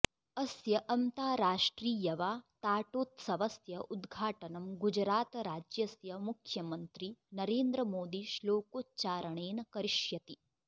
अस्य अन्ताराष्ट्रियवाताटोत्सवस्य उद्घाटनं गुजरातराज्यस्य मुख्यमन्त्री नरेन्द्र मोदी श्लोकोच्चारणेन करिष्यति